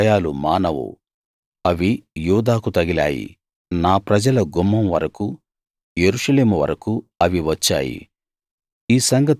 దాని గాయాలు మానవు అవి యూదాకు తగిలాయి నా ప్రజల గుమ్మం వరకూ యెరూషలేము వరకూ అవి వచ్చాయి